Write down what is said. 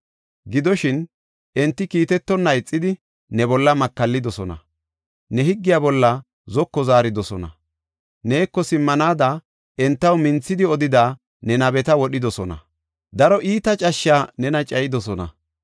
Gidoshin, enti kiitetonna ixidi, ne bolla makallidosona; ne higgiya bolla zoko zaaridosona. Neeko simmanaada entaw minthidi odida ne nabeta wodhidosona. Daro iita cashshi nena cayidosona.